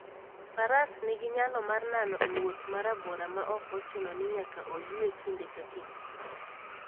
Faras nigi nyalo mar nano e wuoth ma rabora maok ochuno ni nyaka oyue kinde ka kinde.